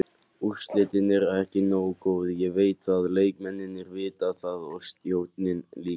Úrslitin eru ekki nógu góð, ég veit það, leikmennirnir vita það og stjórnin líka.